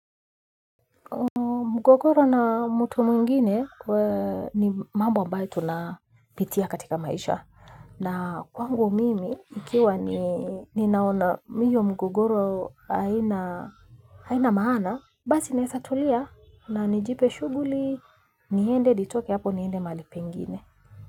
Mgogoro na mtu mwingine ee ni mambo ambayo tunapitia katika maisha. Na kwangu mimi ikiwa ni naona iyo mgogoro haina maana. Basi nesatulia na nijipe shuguli niende nitoke hapo niende mahali pengine.